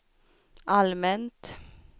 allmänt